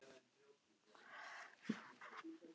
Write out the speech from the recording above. Mun fleiri heiti virðast vera á hvítu tertunni en þeirri brúnu.